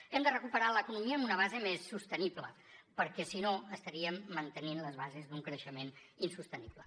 hem de recuperar l’economia amb una base més sostenible perquè si no estaríem mantenint les bases d’un creixement insostenible